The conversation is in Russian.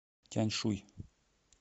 тяньшуй